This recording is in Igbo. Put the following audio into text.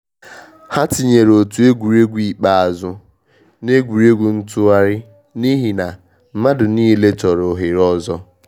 Ha tinyeere otu egwuregwu ikpeazụ n’egwuregwu ntụgharị n’ihi na mmadụ niile chọrọ ohere ọzọ.